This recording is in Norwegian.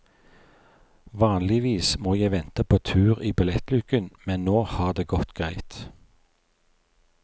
Vanligvis må jeg vente på tur i billettluken, men nå har det gått greit.